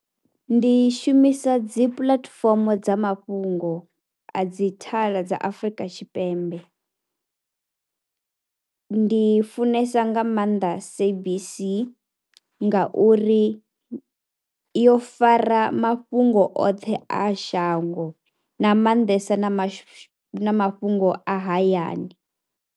Ndi shumisa dzi puḽatifomo dza mafhungo a dzi thala dza Afrika Tshipembe. Ndi funesa nga maanḓa SABC ngauri yo fara mafhungo oṱhe a shango nga maanḓesa na ma, mafhungo a hayani.